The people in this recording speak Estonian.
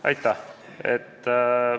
Aitäh!